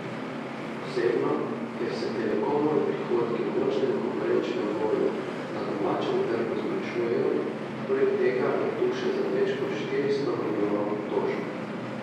Posebno, ker se Telekomovi prihodki v močnem konkurenčnem boju na domačem trgu zmanjšujejo, poleg tega je tu še za več kot štiristo milijonov tožb.